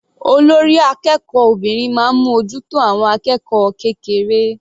Olórí akẹ́kọ̀ọ́ obìnrin máa ń mú ojú tó àwọn akẹ́kọ̀ọ́ kékeré.